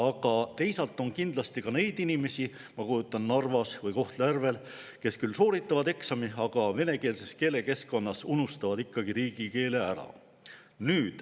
Aga teisalt on kindlasti ka inimesi, ma kujutan ette, Narvas või Kohtla-Järvel, kes küll sooritavad eksami, aga venekeelses keelekeskkonnas unustavad ikkagi riigikeele ära.